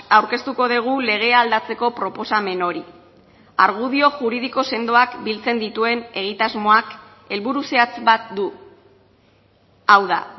aurkeztuko dugu legea aldatzeko proposamen hori argudio juridiko sendoak biltzen dituen egitasmoak helburu zehatz bat du hau da